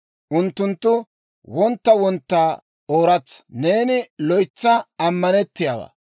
unttunttu wontta wontta ooratsa. Neeni loytsa ammanettiyaawaa.